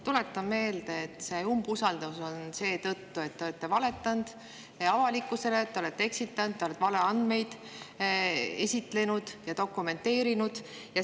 Tuletan meelde, et see umbusaldus on seetõttu, et te olete valetanud avalikkusele, te olete eksitanud, te olete valeandmeid esitlenud ja dokumenteerinud.